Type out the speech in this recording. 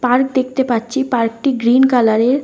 Park দেখতে পাচ্ছি। Park -টি গ্রীন কালার -এর।